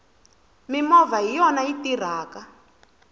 mimovha hiyona yi tirhaka